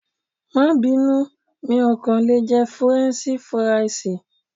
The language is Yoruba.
Máa bínú, mi ò kàn lè jẹ Fúrẹ́nṣí Fúrisìì.